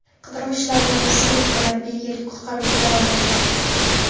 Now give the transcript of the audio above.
Qidiruv ishlarini rossiyalik va norvegiyalik qutqaruvchilar olib bordi.